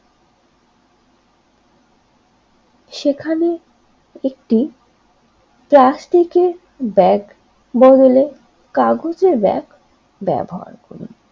সেখানে একটি প্লাস্টিকের ব্যাগ বদলে কাগজের ব্যাগ ব্যবহার করে।